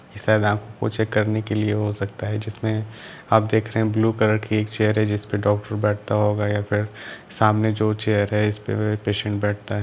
मुझे करने के लिए हो सकता है जिसमें आप देख ब्लू कलर का एक चेयर है जिसमें डॉक्टर बैठता होगा या फिर सामने एक चेयर है जिसमें पेशेंट बैठता --